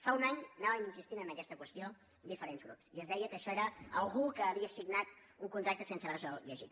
fa un any anàvem insistint en aquesta qüestió diferents grups i es deia que això era algú que havia signat un contracte sense haver·se’l lle·git